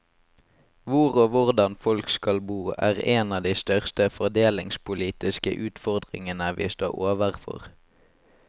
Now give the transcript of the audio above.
Hvor og hvordan folk skal bo er en av de største fordelingspolitiske utfordringene vi står overfor.